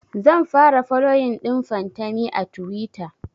zan fara foloyin ɗin fantami a tuwita